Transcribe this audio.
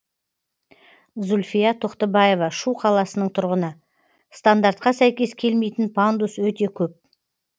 зульфия тоқтыбаева шу қаласының тұрғыны стандартқа сәйкес келмейтін пандус өте көп